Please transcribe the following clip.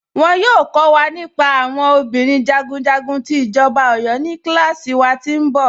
Wọn yọọ kọ̀ wa nípà àwọn obìnrin jagunjagun ti Ijọba Ọ̀yọ̀ ní kílàsí wà tí nbọ̀.